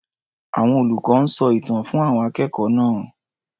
Àwọn olùkọ́ ń sọ ìtàn fún àwọn akẹ́kọ̀ọ́ náá̀.